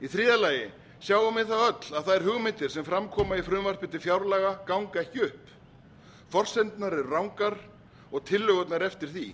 í þriðja lagi sjáum við öll að þær hugmyndir sem fram koma í frumvarpi til fjárlaga ganga ekki upp forsendurnar eru rangar og tillögurnar eftir því